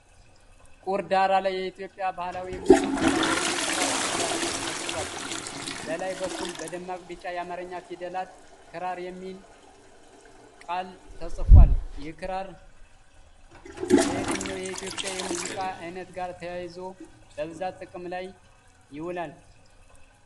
ቁር ዳራ ላይ የኢትዮጵያ ባህላዊ የሙዚቃ መሣሪያ የሆነው ክራር በግራፊክስ ተስሏል። በላይ በኩል በደማቅ ቢጫ የአማርኛ ፊደላት “ክራር” የሚል ቃል ተጽፏል። ክራር ከየትኛው የኢትዮጵያ የሙዚቃ ዓይነት ጋር ተያይዞ በብዛት ጥቅም ላይ ይውላል?